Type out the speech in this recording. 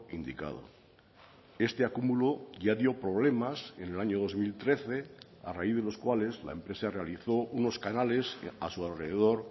indicado este acumulo ya dio problemas en el año dos mil trece a raíz de los cuales la empresa realizó unos canales a su alrededor